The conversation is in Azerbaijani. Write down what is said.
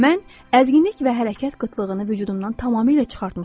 Mən əzginlik və hərəkət qıtlığını vücudumdan tamamilə çıxartmışam.